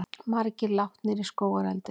Margir látnir í skógareldi